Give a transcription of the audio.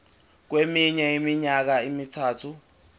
kweminye iminyaka emithathu